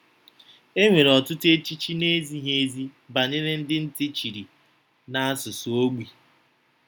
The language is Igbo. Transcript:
E nwere ọtụtụ echiche na-ezighi ezi banyere ndị ntị chiri na asụsụ ogbi.